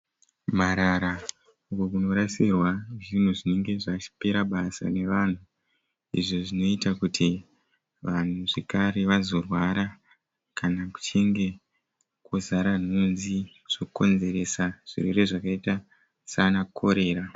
Marara. Uko kunorasirwa zvinhu zvinenge zvapera basa navanhu izvo zvinoita kuti vanhuzvakare vazprwara kana kuchinge kwazara nhunzi zvokonzeresa zvirwere zvakaita sanakorera.